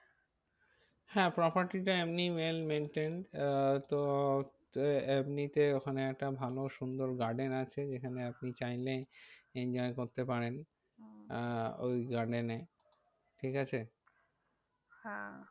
হ্যাঁ